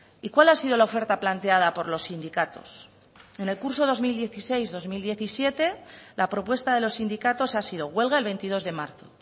y cuál ha sido la oferta planteada por los sindicatos en el curso dos mil dieciséis dos mil diecisiete la propuesta de los sindicatos ha sido huelga el veintidós de marzo